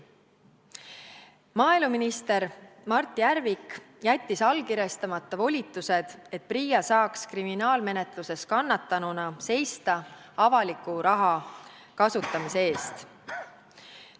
Maaeluminister Mart Järvik jättis allkirjastamata volitused, et PRIA saaks kriminaalmenetluses kannatanuna seista avaliku raha kasutamise eest.